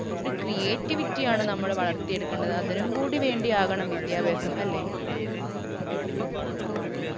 ഒരു creativity യാണ് നമ്മള് വളർത്തിയെടുക്കേണ്ടത് അതിനും കൂടി വേണ്ടിയാകണം വിദ്യാഭ്യാസം അല്ലേ